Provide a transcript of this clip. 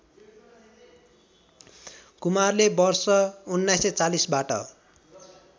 कुमारले वर्ष १९४० बाट